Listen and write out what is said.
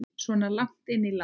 Svo langt inn í landi?